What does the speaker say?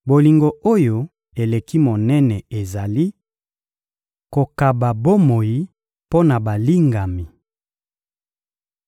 Bolingo oyo eleki monene ezali: kokaba bomoi mpo na balingami.